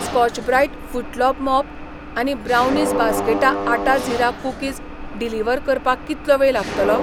Scotch Brite footlock mop आनी brownies basket atta jeera cookies deliver करपाक कितलो वेळ लागतलो ?